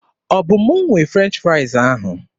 Ọ bụ m nwe French fraịz ahụ?